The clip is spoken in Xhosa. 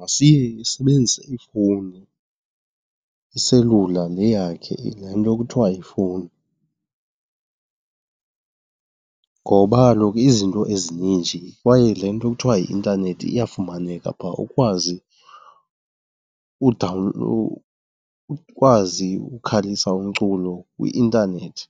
masiye isebenzise ifowuni, iselula le yakhe, le nto kuthiwa yifowuni. Ngoba kaloku izinto ezininji kwaye le nto kuthiwa yi-intanethi iyafumaneka phaa ukwazi , ukwazi ukukhalisa umculo kwi-intanethi.